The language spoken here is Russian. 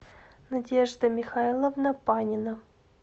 надежда михайловна панина